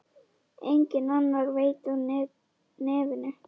Enginn annar veit af nefinu.